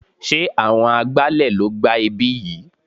Sé àwọn agbálẹ̀ ló gbá ibí yìí?